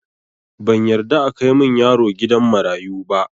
Ban yarda akai min yaro gidan marayu ba